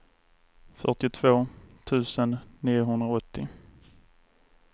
fyrtiotvå tusen niohundraåttio